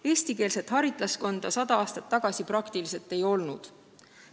Eestikeelset haritlaskonda sada aastat tagasi praktiliselt ei olnud.